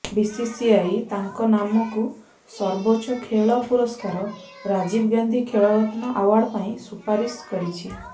BCCI ତାଙ୍କ ନାମକୁ ସର୍ବୋଚ୍ଚ ଖେଳ ପୁରସ୍କାର ରାଜୀବ ଗାନ୍ଧୀ ଖେଳ ରତ୍ନ ଆୱାର୍ଡ ପାଇଁ ସୁପାରିଶ କରିଛି